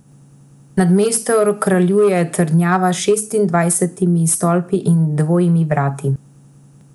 Nad mestom kraljuje trdnjava s šestindvajsetimi stolpi in dvojimi vrati.